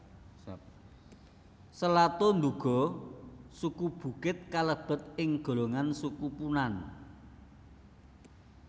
Selato nduga suku Bukit kalebet ing golongan Suku Punan